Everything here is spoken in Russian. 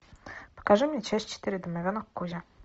покажи мне часть четыре домовенок кузя